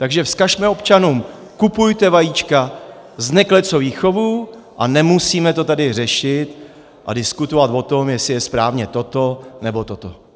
Takže vzkažme občanům, kupujte vajíčka z neklecových chovů, a nemusíme to tady řešit a diskutovat o tom, jestli je správně toto, nebo toto.